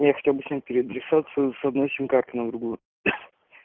я хотел бы снять переадресацию с одной симкарты на другую